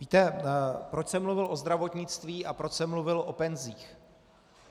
Víte, proč jsem mluvil o zdravotnictví a proč jsem mluvil o penzích?